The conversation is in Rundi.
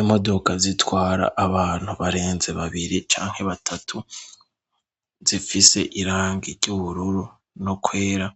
Imodoka zitwara abantu barenze babiri canke batatu zifise irangi ry'ubururu no kwera